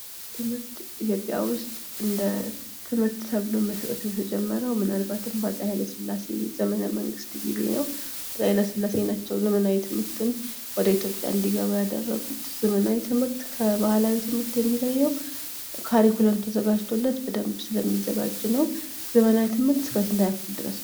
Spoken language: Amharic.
ትምህርት ኢትዮጵያ ውስጥ እንደ ትምህርት ተብሎ መሰጠት የተጀመረው ምናልባትም በአፄ ኃይለስላሴ ዘመነ መንግስት ጊዜ ነው ። አፄ ኃይለስላሴ ናቸው ዘመናዊ ትምህርትን ወደ ኢትዮጵያ እንዲገባ ያደረጉት ። ዘመናዊ ትምህርት ከባህላዊ ትምህርት የሚለየው " ካሪኩለም " ተዘጋጅቶለት በደንብ ስለሚዘጋጅ ነው ። ዘመናዊ ትምህርት እስከ ስንተኛ ክፍል ነው ?